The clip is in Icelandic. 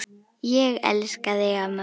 Ég elska þig, amma mín.